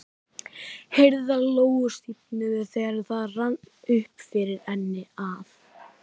Herðar Lóu stífnuðu þegar það rann upp fyrir henni að